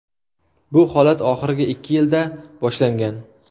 Bu holat oxirgi ikki yilda boshlangan.